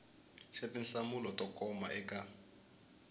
xa tinhlamulo to koma eka